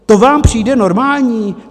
To vám přijde normální?